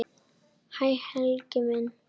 Hæ Helgi minn.